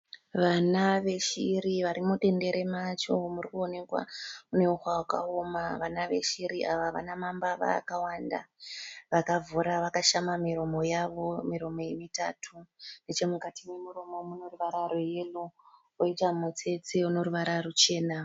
Vana veshiri vari mudendere macho muri kuonekwa mune huswa hwakaoma vana veshiri ava havana mambava akawanda vakavhura vakashama miromo yavo miromo iyi mitatu nechemukati memuromo muno ruvara rweyero koita mutsetse une ruvara ruchena.